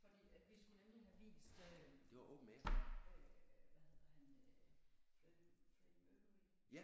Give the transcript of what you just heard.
Fordi at vi skulle nemlig have vist øh hvad hedder han øh Freddie Freddie Mercury